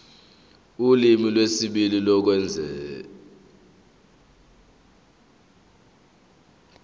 ulimi lwesibili lokwengeza